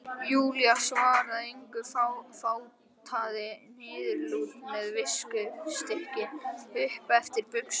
Júlía svaraði engu, fátaði niðurlút með viskustykkinu upp eftir buxunum.